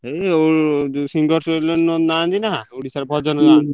ଏଇ ଯୋଉ singers ରେ ନାହାନ୍ତି ନା ଓଡିଶା ରେ ଭଜନ ଗାଆନ୍ତି ହୁଁ ହୁଁ।